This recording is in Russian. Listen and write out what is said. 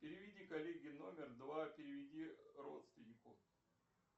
переведи коллеге номер два переведи родственнику